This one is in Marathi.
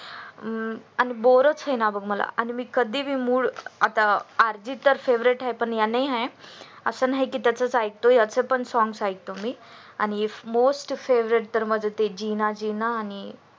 अं आणि boar च होईना बघ मला कधी पण mood आता अर्जित च favorite आहे पण याच आस नाही की त्याचच ऐकतो याच पण ऐकतो मी आणि most favorite मध्ये ते जिना जिना आणि